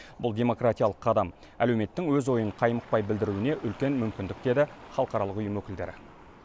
бұл демократиялық қадам әлеуметтің өз ойын қаймықпай білдіруіне үлкен мүмкіндік деді халықаралық ұйым өкілдері